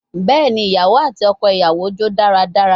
Bẹẹni, iyawo ati ọkọ iyawo jó daradara